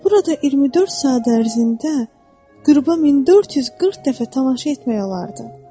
Burada 24 saat ərzində qüruba 1440 dəfə tamaşa etmək olardı.